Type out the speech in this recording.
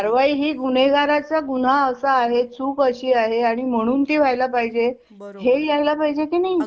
कारवाई ही गुन्हेगाराचा गुन्हा असा आहे चुक अशी आहे आणि म्हणून ती व्हायला पाहिजे बरोबर हे यायला पाहिजे की नाही.